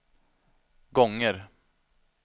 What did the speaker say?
gånger